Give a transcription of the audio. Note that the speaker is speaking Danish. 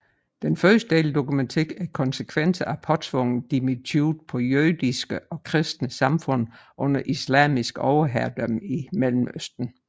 Den første del dokumenterer konsekvenserne af påtvunget dhimmitude på jødiske og kristne samfund under islamisk overherredømme i Mellemøsten